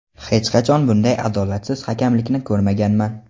"Hech qachon bunday adolatsiz hakamlikni ko‘rmaganman".